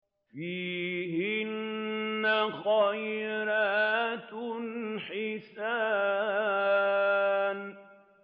فِيهِنَّ خَيْرَاتٌ حِسَانٌ